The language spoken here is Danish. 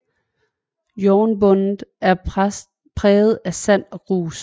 Jornbunden er præget af sand og grus